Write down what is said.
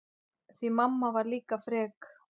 Því mamma var líka frek.